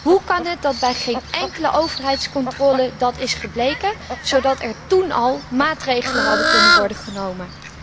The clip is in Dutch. Hoe kan het dat dat bij geen enkele overheidscontrole is gebleken, zodat er toen al maatregelen hadden kunnen worden genomen?